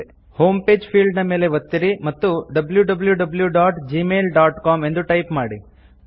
home page ಫೀಲ್ಡ್ನ ಮೇಲೆ ಒತ್ತಿರಿ ಮತ್ತು wwwgmailcom ಎಂದು ಟೈಪ್ ಮಾಡಿ